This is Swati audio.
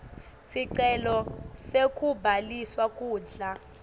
sicelo sekubhaliswa kudla